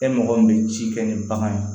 E mɔgɔ min bɛ ci kɛ ni bagan ye